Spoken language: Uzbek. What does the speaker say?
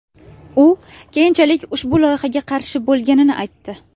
U keyinchalik ushbu loyihaga qarshi bo‘lganini aytdi.